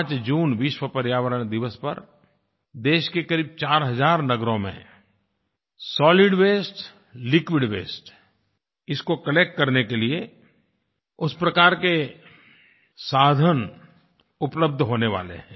5 जून विश्व पर्यावरण दिवस पर देश के करीब 4 हज़ार नगरों में सोलिड वास्ते लिक्विड वास्ते इसको कलेक्ट करने के लिए उस प्रकार के साधन उपलब्ध होने वाले हैं